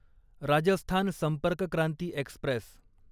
Rajasthan Sampark Kranti Express